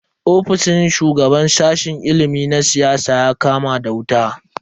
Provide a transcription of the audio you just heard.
Ofishin shugaban sashen ilimin siyasa ya kama da wuta.